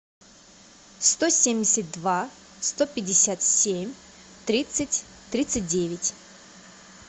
сто семьдесят два сто пятьдесят семь тридцать тридцать девять